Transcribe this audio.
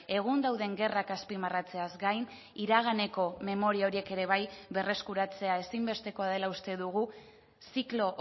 egun dauden gerrak azpimarratzeaz gain iraganeko memoria horiek ere bai berreskuratzea ezinbestekoa dela uste dugu ziklo